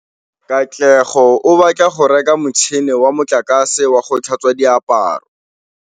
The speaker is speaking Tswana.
Katlego o batla go reka motšhine wa motlakase wa go tlhatswa diaparo.